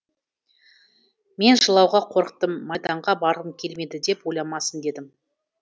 мен жылауға қорықтым майданға барғым келмейді деп ойламасын дедім